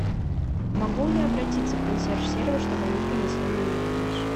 могу я обратиться в консьерж сервис чтобы они принесли мне мою вещь